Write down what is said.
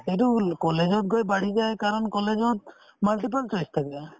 এইটো college ত গৈ বাঢ়িছে কাৰণ college ত multiple choice থাকে